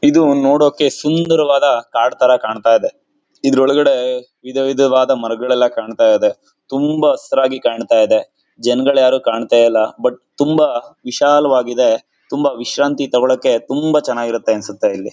ಇದು ನೋಡೋಕೆ ಸುಂದರವಾದ ಕಾಡು ತರ ಕಾಣ್ತಾ ಇದೆ ಇದರ ಒಳಗಡೆ ವಿಧ ವಿಧವಾದ ಮರಗಳೆಲ್ಲ ಕಾಣ್ತಾ ಇದೆ ತುಂಬಾ ಹಸಿರಾಗಿ ಕಾಣ್ತಾ ಇದೆ ಜನಗಳು ಯಾರೂ ಕಾಣ್ತಾ ಇಲ್ಲ ಬಟ್ ತುಂಬಾ ವಿಶಾಲಾವಾಗಿದೆ ತುಂಬಾ ವಿಶ್ರಾಂತಿ ತಗೋಳಕ್ಕೆ ತುಂಬಾ ಚೆನ್ನಾಗಿರುತ್ತೆ ಅನಿಸುತ್ತೆ ಇಲ್ಲಿ.